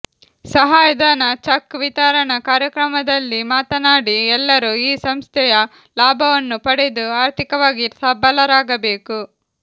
ಸಹಾಯ ಧನ ಚಕ್ ವಿತರಣಾ ಕಾರ್ಯಕ್ರಮದಲ್ಲಿ ಮಾತನಾಡಿ ಎಲ್ಲರೂ ಈ ಸಂಸ್ಥೆಯ ಲಾಭವನ್ನು ಪಡೆದು ಆರ್ಥಿಕವಾಗಿ ಸಬಲರಾಗಬೇಕು